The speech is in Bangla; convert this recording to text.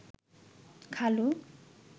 খালু